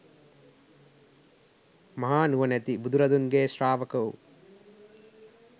මහානුවණැති බුදුරදුන්ගේ ශ්‍රාවක වූ